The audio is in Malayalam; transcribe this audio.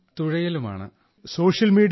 so you are active on social media